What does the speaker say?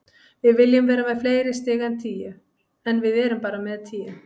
Við viljum vera með fleiri stig en tíu, en við erum bara með tíu.